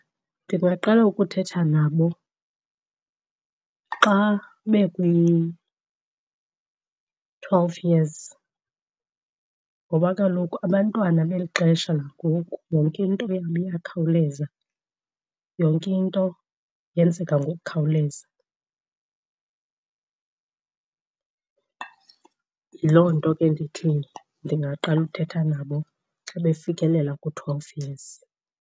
Ndingaqala ukuthetha nabo xa bekwi-twelve years ngoba kaloku abantwana beli xesha langoku yonke into yabo iyakhawuleza, yonke into yenzeka ngokukhawuleza. Yiloo nto ke ndithi ndingaqala uthetha nabo xa befikelela kwi-twelve years.